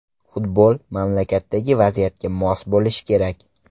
Futbol mamlakatdagi vaziyatga mos bo‘lishi kerak.